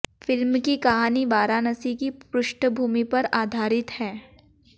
film की कहानी वाराणसी की पृष्ठभूमि पर आधारित है